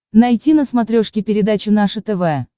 найти на смотрешке передачу наше тв